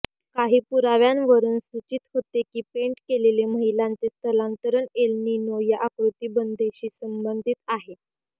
काही पुराव्यांवरून सूचित होते की पेंट केलेले महिलांचे स्थलांतरण एल नीनो या आकृतिबंधेशी संबंधित आहे